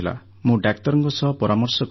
ମୁଁ ଡାକ୍ତରଙ୍କ ସହ ପରାମର୍ଶ କଲି